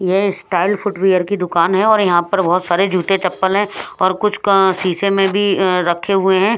यह style footwear की दुकान है और यहां पर बहुत सारे जूते चप्पल हैं और कुछ अं शीशे में भी अं रखे हुए हैं।